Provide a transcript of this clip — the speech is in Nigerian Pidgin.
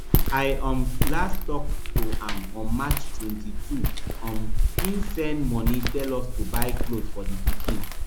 i um last tok to am on march twenty-two um e send money tell us to buy cloth for di pikin